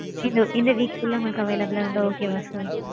இது இந்த week குள்ள உங்களுக்கு available ஆ இருந்தா okay வா sir?